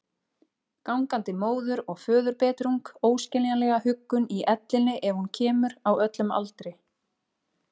Gangandi móður- og föðurbetrung, óskiljanlega huggun í ellinni ef hún kemur, á öllum aldri.